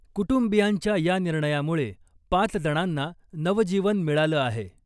कुटुंबियांच्या या निर्णयामुळे, पाच जणांना नवजीवन मिळालं आहे ..